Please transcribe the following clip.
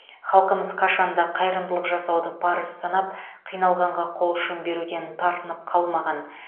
халқымыз қашанда қайырымдылық жасауды парыз санап қиналғанға қол ұшын беруден тартынып қалмаған